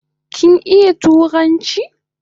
Kin iya turanchi ne?